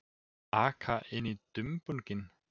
Aka inn í dumbunginn.